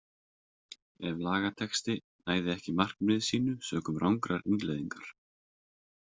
Ef lagatexti næði ekki markmiði sínu sökum rangrar innleiðingar.